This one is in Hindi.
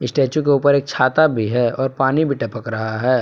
स्टैचू के ऊपर एक छाता भी है और पानी भी टपक रहा है।